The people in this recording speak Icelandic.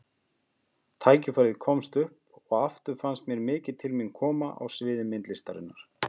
Tiltækið komst upp og aftur fannst mér mikið til mín koma á sviði myndlistarinnar.